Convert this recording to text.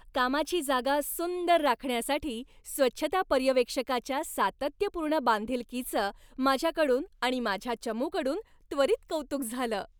कामाची जागा सुंदर राखण्यासाठी स्वच्छता पर्यवेक्षकाच्या सातत्यपूर्ण बांधिलकीचं माझ्याकडून आणि माझ्या चमूकडून त्वरित कौतुक झालं.